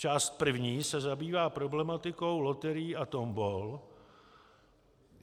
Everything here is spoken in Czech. Část první se zabývá problematikou loterií a tombol.